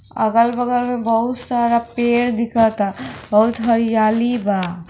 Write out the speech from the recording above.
अगल बगल में बहुत सारा पेड़ दिख ता बहुत हरियाली बा।